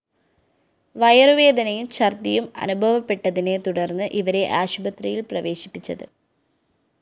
വയറുവേദനയും ഛര്‍ദിയും അനുഭവപ്പെട്ടതിനെ തുടര്‍ന്ന് ഇവരെ ആശുപത്രിയില്‍ പ്രവേശിപ്പിച്ചത്